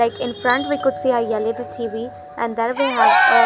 Like in front we could see a L_E_D T_V and there we have a --